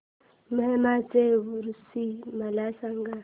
माहीमचा ऊरुस मला सांग